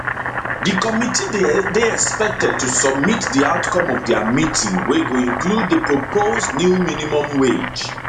di committee dey expected to submit di outcome of dia meeting wey go include di proposed new minimum wage